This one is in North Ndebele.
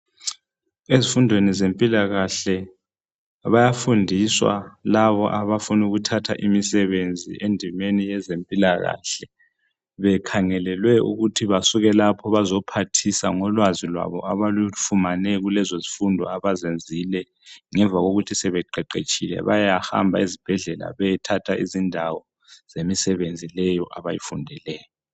Ezifundweni zempilakahle bayafundiswa labo abafuna ukuthatha imisebenzi endimeni yezempilakahle bekhangelelwe ukuthi basuke lapho bezophathisa ngolwazi lwabo abalufumane kulezo zifundo abazenzile, ngemva kokuthi sebeqeqetshile bayahamba ezibhedlela beyethatha izindawo zemisebenzi leyo abayifundeleyo.